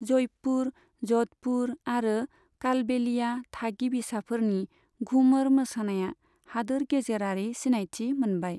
जयपुर, जधपुर आरो कालबेलिया थागिबिसाफोरनि घुमर मोसानाया हादोर गेजेरारि सिनायथि मोनबाय।